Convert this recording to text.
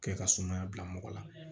Kɛ ka sumaya bila mɔgɔ la